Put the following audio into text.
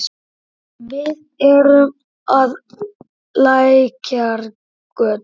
Við erum á Lækjargötu.